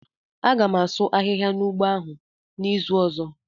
A gam asụ ahịhịa n'ugbo ahụ n'izu ọzọ.